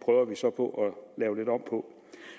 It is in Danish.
prøver vi så at lave lidt om på